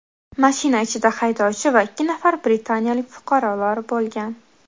Mashina ichida haydovchi va ikki nafar britaniyalik fuqarolar bo‘lgan.